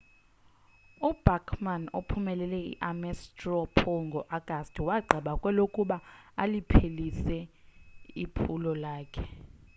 ubachmann ophumelele i-ames straw poll ngo-agasti wagqiba kwelokuba aliphelise iphulo lakhe